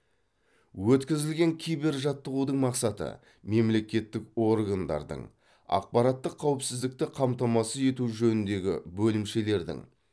өткізілген кибержаттығудың мақсаты мемлекеттік органдардың ақпараттық қауіпсіздікті қамтамасыз ету жөніндегі бөлімшелердің